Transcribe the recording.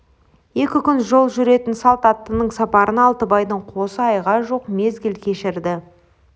екі күн жол жүретін салт аттының сапарына алтыбайдың қосы айға жуық мезгіл кешірді